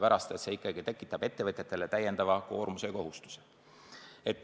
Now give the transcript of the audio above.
See ikkagi tekitab ettevõtjatele täiendava koormuse ja kohustuse.